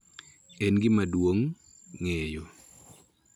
En gima duong� ng�eyo